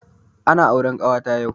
Ana auren kawata yau